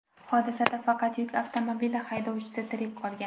Hodisada faqat yuk avtomobili haydovchisi tirik qolgan.